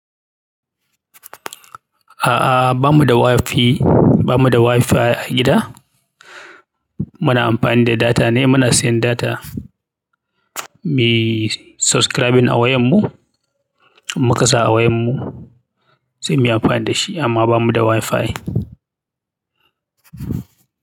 A'a bammu da wifi bamu da wifi a gida. Muna amfani da data ne, muna siyan data. Miyi subscribing a wayan mu, in muka sa a wayan mu sai mu yi amfani da shi amma ba mu da Wi-Fi.